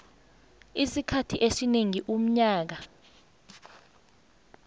isikhathi esingeqi umnyaka